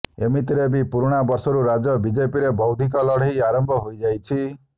ଏମିତିରେ ବି ପୁରୁଣା ବର୍ଷରୁ ରାଜ୍ୟ ବିେଜପିରେ ବୌଦ୍ଧିକ ଲଢେଇ ଆରମ୍ଭ େହାଇଯାଇଛି